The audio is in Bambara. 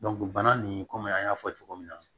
bana nin kɔmi an y'a fɔ cogo min na